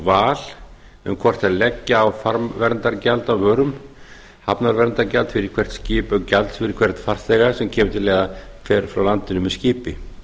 val um hvort þær leggja á farmverndargjald á vörum hafnarverndargjald fyrir hvert skip eða gjald fyrir hvern farþega sem fer frá landinu með skipi